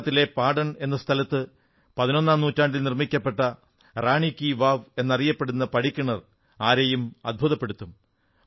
ഗുജറാത്തിലെ പാഢൺ എന്ന സ്ഥലത്ത് പതിനൊന്നാം നൂറ്റാണ്ടിൽ നിർമ്മിക്കപ്പെട്ട റാണീ കീ വാവ് എന്നറിയപ്പെടുന്ന പടിക്കിണർ ആരെയും ആശ്ചര്യപ്പെടുത്തും